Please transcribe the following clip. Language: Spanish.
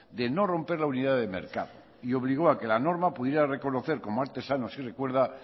de no romper la unidad de mercado y obligó a que la norma pudiera reconocer como artesanos y recuerda